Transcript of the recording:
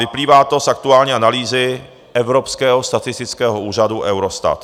Vyplývá to z aktuální analýzy evropského statistického úřadu Eurostat.